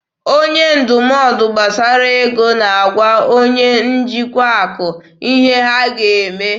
Onye ndụmọdụ gbasara ego na-agwa onye njikwa akụ ihe ha ga-eme.